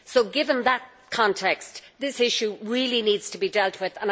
Given that context, this issue really needs to be dealt with.